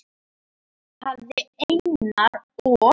Axel hafði Einar og